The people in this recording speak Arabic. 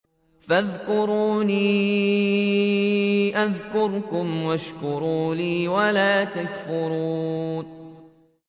فَاذْكُرُونِي أَذْكُرْكُمْ وَاشْكُرُوا لِي وَلَا تَكْفُرُونِ